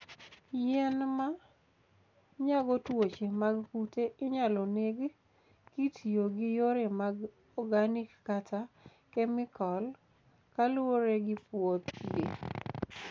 Yien ma nyago tuoche mag kute inyalo neg kitiyo gi yore mag organic kata kemikal, kaluwore gi puothgi.